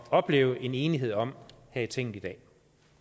opleve en enighed om her i tinget i dag